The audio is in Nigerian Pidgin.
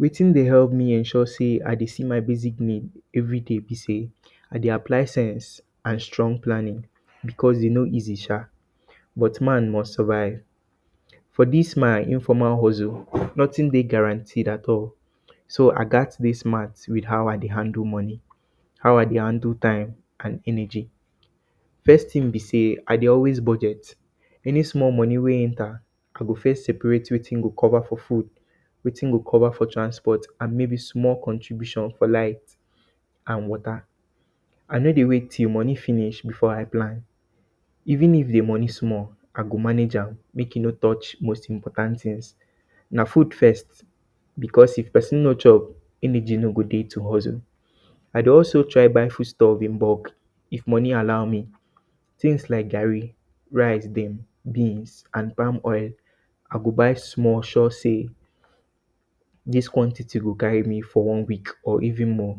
Wetin dey help ensure say I dey see my basic nid everyday be say I dey apply sense, strong planning because e no easy sha. But man must survive for dis my informal hustle, notin dey guaranty at all. So, I gat dey smart with how I dey handle moni, how I dey handle time and energy. First tin bi say I dey always budget any small moni we yenta, I go first separate wetin go cover for food, wetin go cover for transport and maybe small contribution for light and water. I no dey wait till moni finish before I plan. Even if di moni small, I go manage am, mek e no touch most important tins. Na food first, because if pesin no chop, energy no go dey to hustle. I dey also try to buy food stuff in bulk if moni allow me, tins lak garri, rice dem, beans and palm oil, I go buy small sure say dis quanty go guard me for one week or even more.